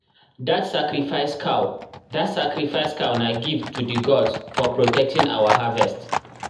that sacrifice cow that sacrifice cow na gift to the gods for protecting our harvest.